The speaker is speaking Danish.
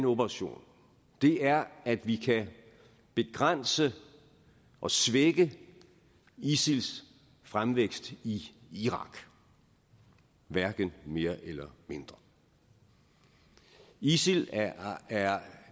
operation er at vi kan begrænse og svække isils fremvækst i irak hverken mere eller mindre isil er